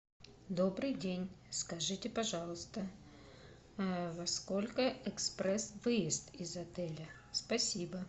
добрый день скажите пожалуйста во сколько экспресс выезд из отеля спасибо